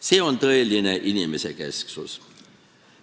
See on tõeline inimesekesksus.